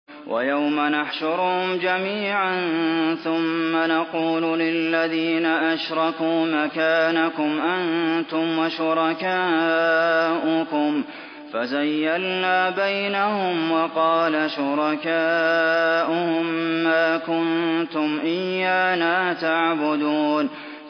وَيَوْمَ نَحْشُرُهُمْ جَمِيعًا ثُمَّ نَقُولُ لِلَّذِينَ أَشْرَكُوا مَكَانَكُمْ أَنتُمْ وَشُرَكَاؤُكُمْ ۚ فَزَيَّلْنَا بَيْنَهُمْ ۖ وَقَالَ شُرَكَاؤُهُم مَّا كُنتُمْ إِيَّانَا تَعْبُدُونَ